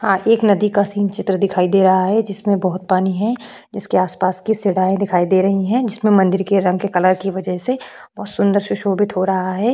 आ एक नदी का सीन चित्र दिखाई दे रहा है जिसमें बहुत पानी है इसके आसपास की सीढ़ियांये दिखाई दे रही हैं जिसमें मंदिर के रंग के कलर की वजह से बहुत सुंदर सुशोभित हो रहा है।